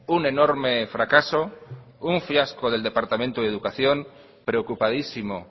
un enorme fracaso un fiasco del departamento de educación preocupadísimo